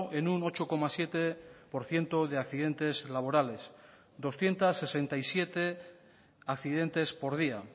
en un ocho coma siete por ciento de accidentes laborales doscientos sesenta y siete accidentes por día